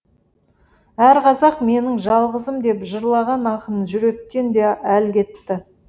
әр қазақ менің жалғызым деп жырлаған ақын жүректен де әл кетті